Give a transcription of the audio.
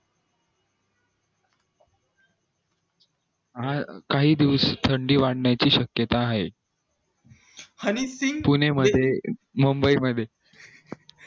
अं काही दिवस थंडी वाटण्या ची शक्यता आहे